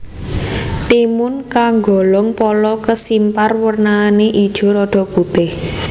Timun kagolong pala kesimpar wernané ijo rada putih